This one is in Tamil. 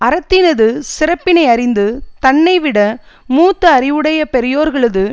அறத்தினது சிறப்பினையறிந்து தன்னைவிட மூத்த அறிவுடைய பெரியார்களது